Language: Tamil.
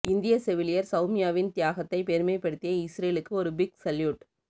இந்திய செவிலியர் செளமியாவின் தியாகத்தை பெருமைபடுத்திய இஸ்ரேலுக்கு ஒரு பிக் சல்யூட்